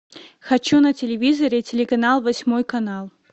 хочу на телевизоре телеканал восьмой канал